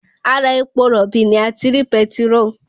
Ara epo rọ̀bì ni a ti rí petiróò